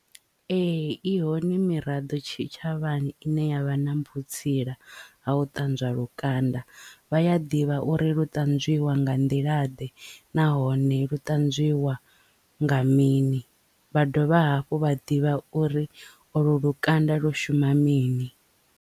Ee i hone miraḓo tshitshavhani ine yavha na vhutsinda ha u ṱanzwa lukanda vhaya ḓivha uri lu ṱanzwiwa nga nḓila ḓe nahone lu ṱanzwiwa nga mini vha dovha hafhu vha ḓivha uri olu lukanda lu shuma mini.